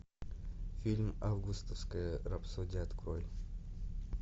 фильм августовская рапсодия открой